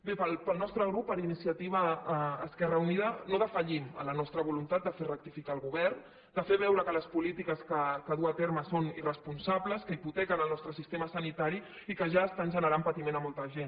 bé el nostre grup iniciativa esquerra unida no defallim en la nostra voluntat de fer rectificar el govern de fer veure que les polítiques que du a terme són irresponsables que hipotequen el nostre sistema sanitari i que ja estan generant patiment a molta gent